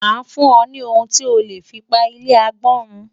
Màá fún ọ ní ohun tí o lè fi pa ilé agbọ́n run.